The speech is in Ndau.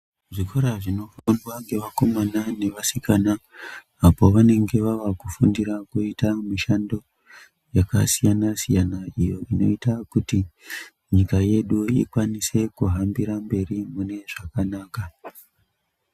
Zvikora zvinofundwa ngevakomana nevasikana apo pavange vava kufundira kuita mishando yakasiyana siyana iyo inoita kuti nyika yedu ikwanise kuhambira mberi mune zvakanaka.